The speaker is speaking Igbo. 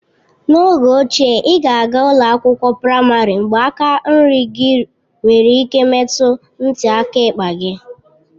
N'oge ochie, ị ga-aga ụlọ akwụkwọ praịmarị mgbe aka nri gị nwere ike imetụ ntị aka ekpe gị.